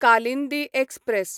Kalindi express